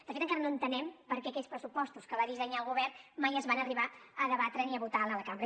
de fet encara no entenem per què aquells pressupostos que va dissenyar el govern mai es van arribar a debatre ni a votar a la cambra